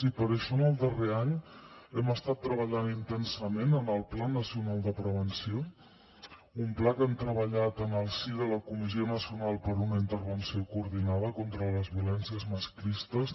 i per això en el darrer any hem estat treballant intensament en el pla nacional de prevenció un pla que hem treballat en el si de la comissió nacional per a una intervenció coordinada contra les violències masclistes